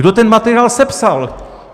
Kdo ten materiál sepsal?